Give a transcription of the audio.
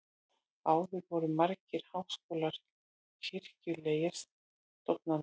áður voru margir háskólar kirkjulegar stofnanir